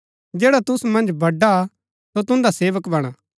जैडा तुसु मन्ज बड़ा हा सो तुन्दा सेवक बणा